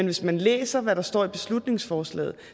hvis man læser hvad der står i beslutningsforslaget